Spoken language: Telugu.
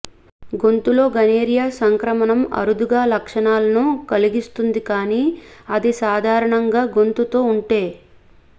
గొంతులో గనోరియా సంక్రమణం అరుదుగా లక్షణాలను కలిగిస్తుంది కానీ అది సాధారణంగా గొంతుతో ఉంటే